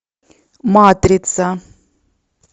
матрица